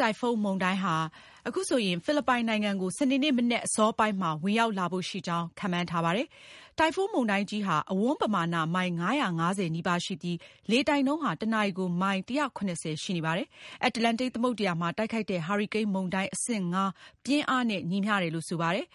တိုင်ဖွန်းမုန်တိုင်း ဟာ ဖိလစ်ပိုင်နိုင်ငံကို စနေနေ့ မနက်အစောပိုင်းမှာ ဝင်ရောက် လာဖို့ရှိကြောင်း ခန့်မှန်းထားပါတယ်။ တိုင်ဖွန်းမုန်တိုင်းကြီးဟာ အဝန်းပမာဏ မိုင် ၅၅၀ နီးပါးရှိပြီး လေတိုက်နှုန်းဟာ တနာရီကို မိုင် ၁၇၀ ရှိနေပါတယ်။ အတ္တလန်တိတ်သမုဒ္ဒရာမှာ တိုက်ခိုက်တဲ့ ဟာရီကိန်းမုန်တိုင်း အဆင့် ၅ ပြင်းအားနဲ့ ညီမျှပါတယ်။